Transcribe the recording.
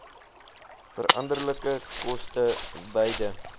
veranderlike koste beide